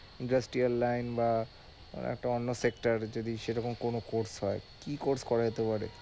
বা একটা অন্য যদি সেরকম কোন হয় কি করা যেতে পারে?